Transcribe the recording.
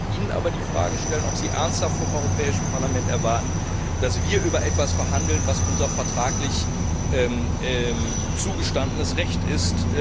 Ich möchte Ihnen aber die Frage stellen, ob Sie ernsthaft vom Europäischen Parlament erwarten, dass wir über etwas verhandeln, was unser vertraglich zugestandenes Recht ist.